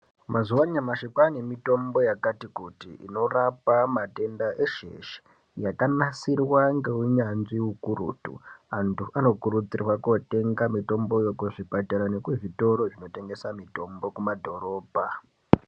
Mazuwa anyamashi, kwaane mitombo yakati kuti, inorapa matenda eshe-eshe, yakanasirwa ngeunyanzvi ukurutu. Antu anokurudzirwa kootenga mitomboyo, kuzvipatara nekuzvitoro zvinotengesa mitombo kumadhorobha.